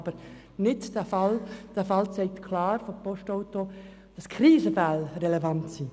Aber der vorliegende Fall der Postauto AG zeigt klar, dass die Krisensituationen relevant sind.